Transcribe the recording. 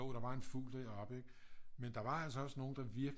Jo der var en fugl deroppe ikke men der var altså også nogle der virkelig